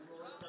Yəni bilirsən.